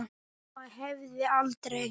Mamma hefði aldrei.